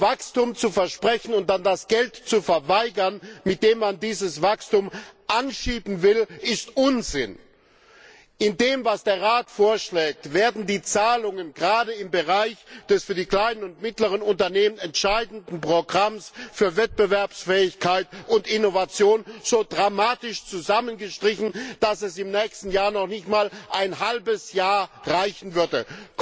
Wachstum zu versprechen und dann das Geld zu verweigern, mit dem man dieses Wachstum anschieben will, ist Unsinn. In den Vorschlägen des Rates werden die Zahlungen gerade im Bereich des für die kleinen und mittleren Unternehmen entscheidenden Programms für Wettbewerbsfähigkeit und Innovation so dramatisch zusammengestrichen, dass die Mittel im nächsten Jahr noch nicht einmal ein halbes Jahr reichen würden.